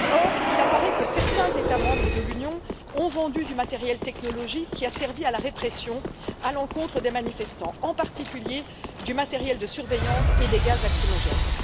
Or, il apparaît que certains États membres de l'Union ont vendu du matériel technologique qui a servi à la répression à l'encontre des manifestants, en particulier du matériel de surveillance et des gaz lacrymogènes.